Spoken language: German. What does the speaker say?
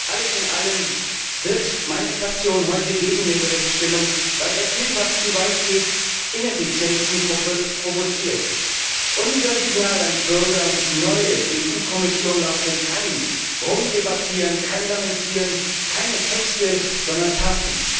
Alles in allem wird meine Fraktion heute gegen den Bericht stimmen, weil er vielfach zu weit geht, Ineffizienzen provoziert. Unser Signal an die Bürger und die neue EU Kommission lautet Kein Rumdebattieren, kein Lamentieren, keine Texte, sondern Taten!